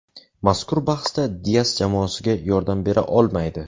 Mazkur bahsda Dias jamoasiga yordam bera olmaydi.